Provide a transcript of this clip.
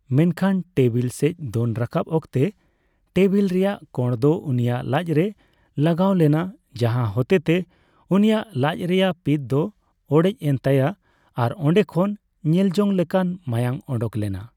ᱢᱮᱱᱠᱷᱟᱱ ᱴᱮᱵᱤᱞ ᱥᱮᱪ ᱫᱚᱱ ᱨᱟᱠᱟᱯ ᱚᱠᱛᱮ ᱴᱮᱵᱤᱞ ᱨᱮᱭᱟᱜ ᱠᱳᱬ ᱫᱚ ᱩᱱᱤᱭᱟᱜ ᱞᱟᱪ ᱨᱮ ᱞᱟᱜᱟᱳ ᱞᱮᱱᱟ, ᱡᱟᱦᱟ ᱦᱚᱛᱮᱛᱮ ᱩᱱᱤᱭᱟᱜ ᱞᱟᱪ ᱨᱮᱭᱟᱜ ᱯᱤᱛ ᱫᱚ ᱚᱲᱮᱪᱼᱮᱱ ᱛᱟᱭᱟ ᱟᱨ ᱚᱰᱮ ᱠᱷᱚᱱ ᱧᱮᱞᱡᱚᱝ ᱞᱮᱠᱟ ᱢᱟᱭᱟᱝ ᱚᱰᱚᱝ ᱞᱮᱱᱟ ᱾